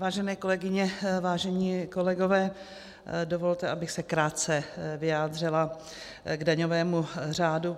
Vážené kolegyně, vážení kolegové, dovolte, abych se krátce vyjádřila k daňovému řádu.